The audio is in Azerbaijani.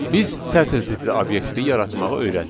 Biz sətr tipli obyekti yaratmağı öyrəndik.